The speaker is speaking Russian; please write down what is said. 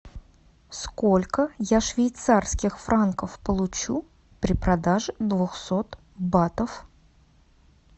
сколько я швейцарских франков получу при продаже двухсот батов